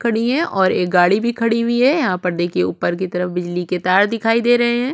खड़ी है और एक गाड़ी भी खड़ी हुई है यहाँ पर देखिए ऊपर की तरफ बिजली के तार दिखाई दे रहे है।